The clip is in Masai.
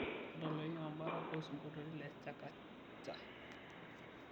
tadalayu embata o sinkoliotin le chakacha